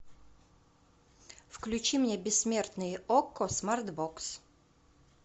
включи мне бессмертные окко смарт бокс